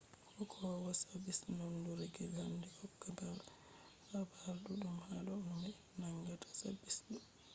hokkowo sabis nondurgel handi hokka habar duddum hado no be nangata sabis ɗo